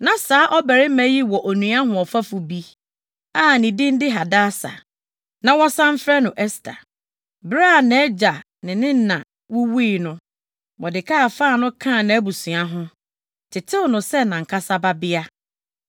Na saa ɔbarima yi wɔ onua hoɔfɛfo bi a ne din de Hadasa a na wɔsan frɛ no Ɛster. Bere a nʼagya ne ne na wuwui no, Mordekai faa no kaa nʼabusua ho, tetew no sɛ nʼankasa babea.